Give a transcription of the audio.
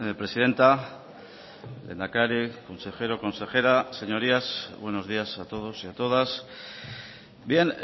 presidenta lehendakari consejero consejera señorías buenos días a todos y a todas bien